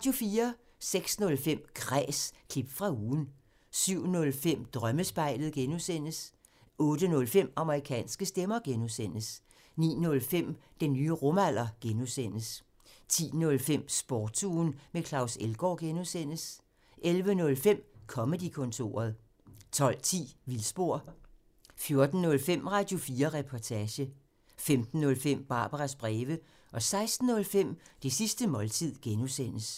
06:05: Kræs – klip fra ugen 07:05: Drømmespejlet (G) 08:05: Amerikanske stemmer (G) 09:05: Den nye rumalder (G) 10:05: Sportsugen med Claus Elgaard (G) 11:05: Comedy-kontoret 12:10: Vildspor 14:05: Radio4 Reportage 15:05: Barbaras breve 16:05: Det sidste måltid (G)